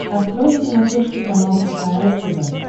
открой на смотрешке канал кхл тв